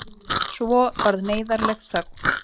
Svo varð neyðarleg þögn.